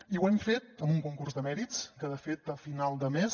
i ho hem fet amb un concurs de mèrits que de fet a final de mes